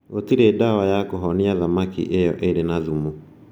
Gũtirĩ ndawa ya kũhonia thamaki ĩyo ĩrĩ na thumu